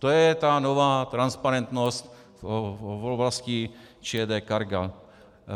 To je ta nová transparentnost v oblasti ČD Cargo.